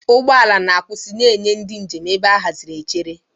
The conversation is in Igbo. Ụgbọ ala na-akwụsị na-enye ndị njem ebe a haziri echere.